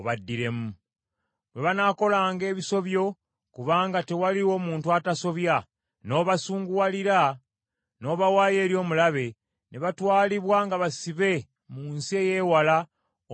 “Bwe banaakolanga ebisobyo, kubanga tewaliwo muntu atasobya, n’obasunguwalira, n’obawaayo eri omulabe, ne batwalibwa nga basibe mu nsi ey’ewala oba ey’okumpi,